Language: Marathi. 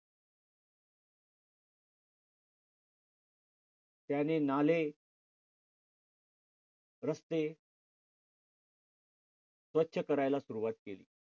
त्यांनीं नाले रस्ते स्वच्छ करायला सुरुवात केली.